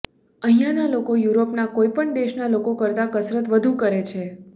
અહીંના લોકો યુરોપના કોઇ પણ દેશના લોકો કરતાં કસરત વધુ કરે છે